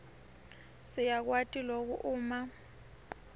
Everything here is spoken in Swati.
siyakwati loku uma